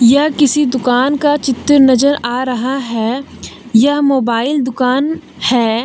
यह किसी दुकान का चित्र नजर आ रहा है यह मोबाइल दुकान है।